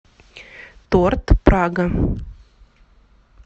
торт прага